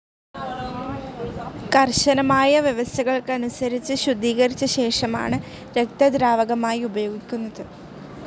കർശനമായ വ്യവസ്ഥകൾക്കനുസരിച്ച് ശുദ്ധീകരിച്ച ശേഷമാണ് രക്തദ്രാവകമായി ഉപയോഗിക്കുന്നത്.